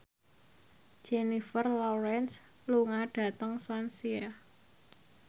Jennifer Lawrence lunga dhateng Swansea